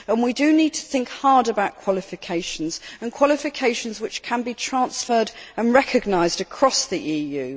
We need to think hard about qualifications, and qualifications which can be transferred and recognised across the EU.